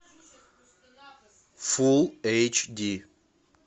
фулл эйч ди